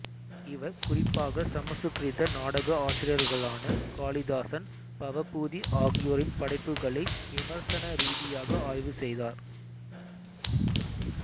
இவர் குறிப்பாக சமசுகிருத நாடக ஆசிரியர்களான காளிதாசன் பவபூதி ஆகியோரின் படைப்புகளை விமர்சன ரீதியாக ஆய்வு செய்தார்